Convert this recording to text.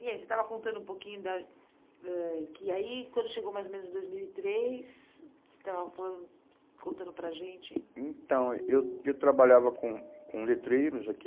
E aí, você estava contando um pouquinho da ãh que aí, quando chegou mais ou menos em dos mil e três, você estava falando, contando para a gente... Então, eu eu trabalhava com com letreiros aqui,